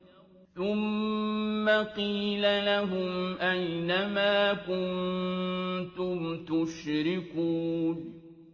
ثُمَّ قِيلَ لَهُمْ أَيْنَ مَا كُنتُمْ تُشْرِكُونَ